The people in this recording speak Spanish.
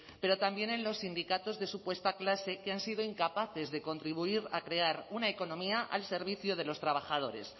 pero también en los sindicatos de supuesta clase que han sido incapaces de contribuir a crear una economía al servicio de los trabajadores